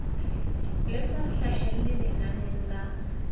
le sa hlahelle lenaneng la